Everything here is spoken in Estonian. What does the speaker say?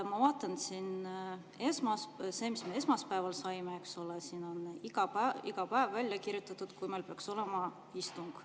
Ma vaatan siin seda, mis me esmaspäeval saime, siin on iga päev välja kirjutatud, kui meil peaks olema istung.